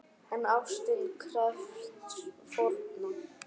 En ástin krefst fórna!